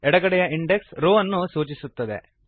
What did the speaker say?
ಎಡಗಡೆಯ index row ಅನ್ನು ಸೂಚಿಸುತ್ತದೆ